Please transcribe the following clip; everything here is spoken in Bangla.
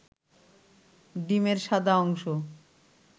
ডিমের সাদা অংশ